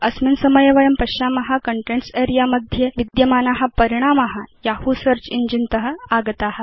अस्मिन् समये वयं पश्याम कन्टेन्ट्स् अरेऽ मध्ये विद्यमाना परिणामा यहू सेऽर्च इञ्जिन त आगता